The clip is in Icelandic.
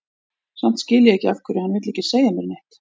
Samt skil ég ekki af hverju hann vill ekki segja mér neitt.